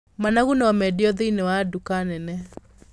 Managu no mendio thĩiniĩ wa nduka nene.